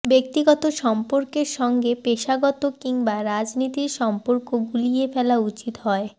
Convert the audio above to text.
ব্যক্তিগত সম্পর্কের সঙ্গে পেশাগত কিংবা রাজনীতির সম্পর্ক গুলিয়ে ফেলা উচিত হয়